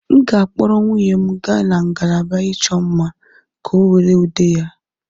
M ga-akpọrọ nwunye m gaa na ngalaba ịchọ mma, ka ọ were ude ya.